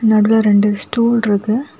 நடுல ரெண்டு ஸ்டூல் ருக்கு.